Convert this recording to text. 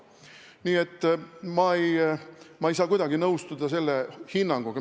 Nii et ma ei saa kuidagi selle hinnanguga nõustuda.